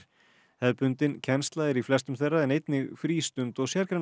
hefðbundin kennsla er í flestum þeirra en einnig frístund og